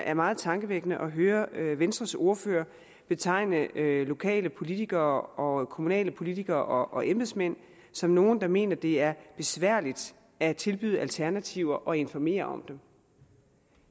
er meget tankevækkende at høre venstres ordfører betegne lokale politikere og kommunale politikere og embedsmænd som nogle der mener at det er besværligt at tilbyde alternativer og informere om dem